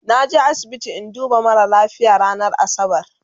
naje asibiti in duba mara lafia ranar asabar